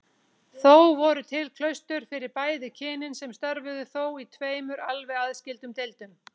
Þó voru til klaustur fyrir bæði kynin sem störfuðu þó í tveimur alveg aðskildum deildum.